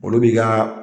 Olu b'i ka